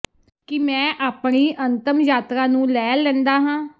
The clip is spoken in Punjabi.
ਕਿ ਮੈਂ ਆਪਣੀ ਅੰਤਮ ਯਾਤਰਾ ਨੂੰ ਲੈ ਲੈਂਦਾ ਹਾਂ